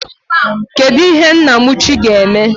Kedụ ihe Nnamuchi ga-eme?